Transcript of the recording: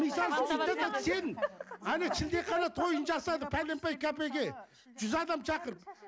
әне шілдехана тойын жасады пәленбай кәпейке жүз адам шақырды